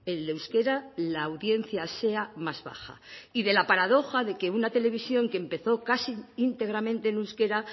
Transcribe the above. el euskera la audiencia sea más baja y de la paradoja de que una televisión que empezó casi íntegramente en euskera